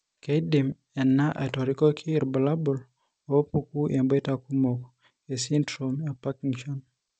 Keidim ena atorikoki irbulabul onaapuku emboita kumok oesindirom ePartington.